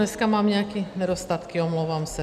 Dneska mám nějaké nedostatky, omlouvám se.